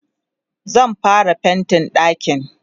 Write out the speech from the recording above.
zan fara faintin ɗakin